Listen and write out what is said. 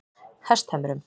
Hesthömrum